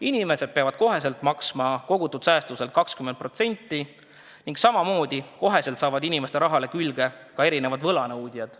Inimesed peavad kohe maksma kogutud säästudelt 20% ning samamoodi kohe hakkavad inimeste rahale külge ka erinevad võlanõudjad.